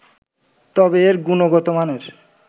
তবে এর গুণগত মানের